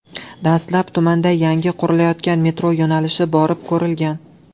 Dastlab tumanda yangi qurilayotgan metro yo‘nalishi borib ko‘rilgan .